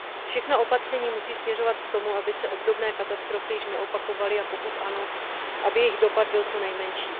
Všechna opatření musí směřovat k tomu, aby se obdobné katastrofy již neopakovaly, a pokud ano, aby jejich dopad byl co nejmenší.